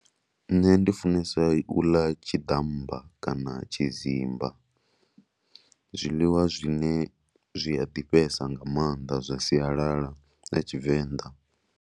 Nṋe ndi funesa u ḽa tshiḓamba kana tshidzimba, zwiḽiwa zwine zwi a ḓifhesa nga maanḓa zwa sialala ya Tshivenḓa.